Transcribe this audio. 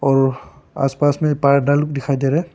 और आसपास में पार्डल दिखाई दे रहे--